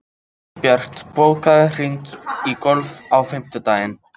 Gunnbjört, bókaðu hring í golf á fimmtudaginn.